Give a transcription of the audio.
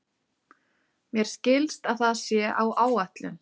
Mér skilst að það sé á áætlun.